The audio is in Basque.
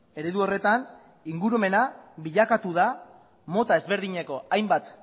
eredu horretan ingurumena bilakatu da mota ezberdineko hainbat